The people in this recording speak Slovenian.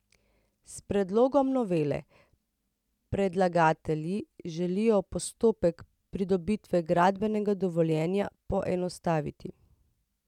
S predlogom novele predlagatelji želijo postopek pridobitve gradbenega dovoljenja poenostaviti.